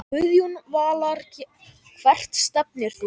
Guðjón Valur Hvert stefnir þú?